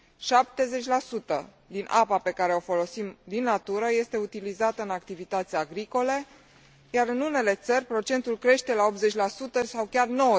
70 din apa pe care o folosim din natură este utilizată în activități agricole, iar în unele țări procentul crește la 80 sau chiar la